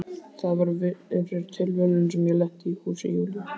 Það var fyrir tilviljun sem ég lenti í húsi Júlíu.